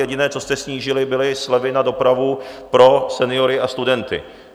Jediné, co jste snížili, byly slevy na dopravu pro seniory a studenty.